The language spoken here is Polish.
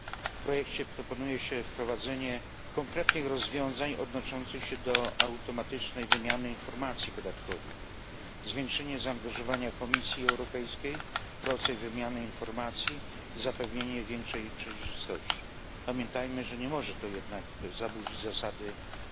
W projekcie proponuje się wprowadzenie konkretnych rozwiązań odnoszących się do automatycznej wymiany informacji podatkowych, zwiększenie zaangażowania Komisji Europejskiej, proces wymiany informacji i zapewnienie większej przejrzystości. Pamiętajmy, że nie może to jednak zaburzyć zasady zachowania poufności.